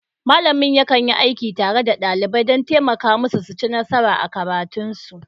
Malamin yakan yi aiki tare da ɗalibai don taimaka musu su ci nasara a karatunsu.